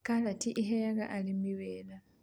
Karati ĩheaga arĩmi wĩra